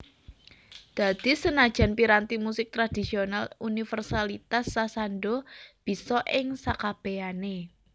Dadi senajan piranti musik tradhisional universalitas sasando bisa ing sakabehané